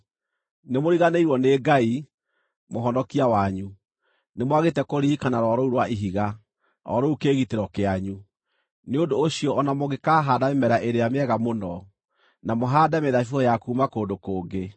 Nĩmũriganĩirwo nĩ Ngai, Mũhonokia wanyu; nĩmwagĩte kũririkana Rwaro rũu rwa Ihiga, o rũu kĩĩgitĩro kĩanyu. Nĩ ũndũ ũcio o na mũngĩkahaanda mĩmera ĩrĩa mĩega mũno, na mũhaande mĩthabibũ ya kuuma kũndũ kũngĩ,